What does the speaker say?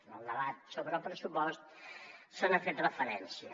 en el debat sobre el pressupost se n’ha fet referència